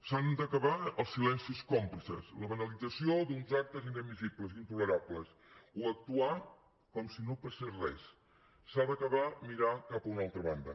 s’han d’acabar els silencis còmplices la banalització d’uns actes inadmissibles intolerables o actuar com si no passés res s’ha d’acabar mirar cap a una altra banda